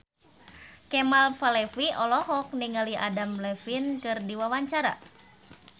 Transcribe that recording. Kemal Palevi olohok ningali Adam Levine keur diwawancara